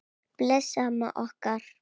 Bless amma okkar.